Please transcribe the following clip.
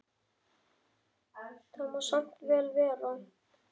Það má samt vel vera.